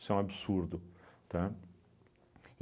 Isso é um absurdo, tá?